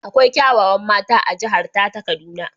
Akwai kyawawan mata a jihar ta kaduna.